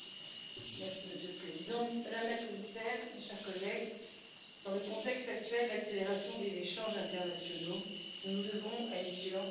Monsieur le Président, Madame la Commissaire, mes chers collègues, dans le contexte actuel d'accélération des échanges internationaux, nous nous devons à une vigilance extrême.